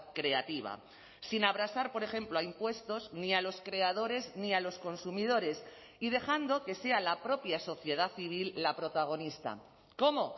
creativa sin abrasar por ejemplo a impuestos ni a los creadores ni a los consumidores y dejando que sea la propia sociedad civil la protagonista cómo